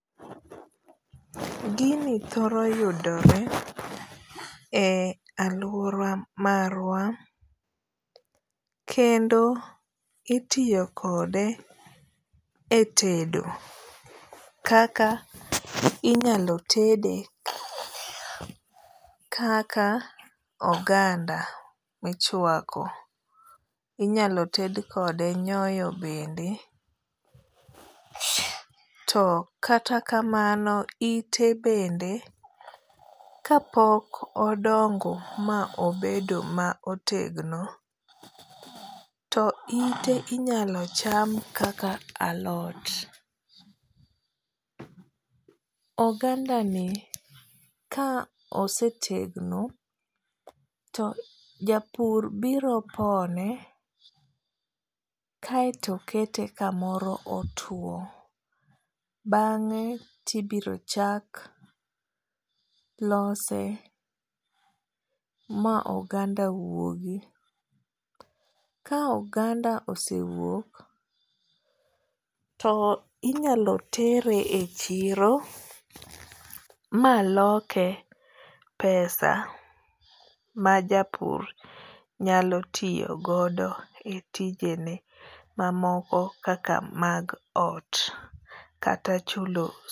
Gini thoro yudore e aluora marwa. Kendo itiyo kode e tedo kaka inyalo tede kaka oganda michwako. Inyalo ted kode nyoyo bende. To kata kamano ite bende ka pok odongo ma obedo ma otegno to ite inyalo cham kaka alot. Oganda ni ka osetegno to japur biro pone kaeto kete kamoro otuo. Bang'e tibiro chak lose ma oganda wuogi. Ka oganda ose wuok, to inyalo tere e chiro ma loke pesa ma japur nyalo tiyogodo e tijene ma moko kaka mag ot kata chulo.